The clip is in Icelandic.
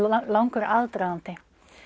langur aðdragandi